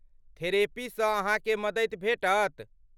थेरेपीसँ अहाँकेँ मदति भेटत।